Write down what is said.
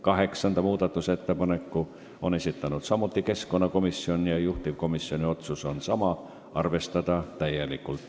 Kaheksanda muudatusettepaneku on samuti esitanud keskkonnakomisjon ja juhtivkomisjoni otsus on sama – arvestada täielikult.